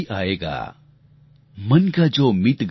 मन का जो मीत गया